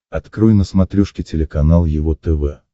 открой на смотрешке телеканал его тв